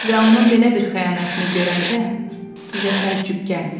Və onun belə bir xəyanətini görəndə bizə təəccüb gəlmir.